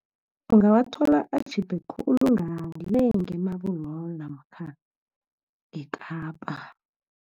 Ungawathola atjhipe khulu, ngale nge-Marble Hall, namkha nge-Kapa.